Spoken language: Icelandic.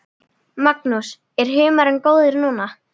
Magnús: Er humarinn góður núna?